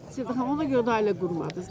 Sevda xanım, ona görə də ailə qurmadınız da?